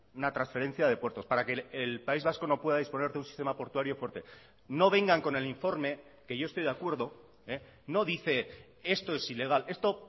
una transferencia de puertos para que el país vasco no pueda disponer de un sistema portuario fuerte no vengan con el informe que yo estoy de acuerdo no dice esto es ilegal esto